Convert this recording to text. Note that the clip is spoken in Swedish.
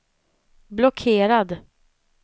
blockerad